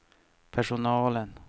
personalen